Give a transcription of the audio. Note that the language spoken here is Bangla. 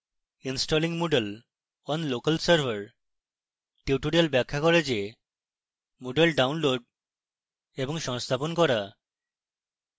installing moodle on local server tutorial ব্যাখ্যা করে যে moodle download এবং সংস্থাপন করা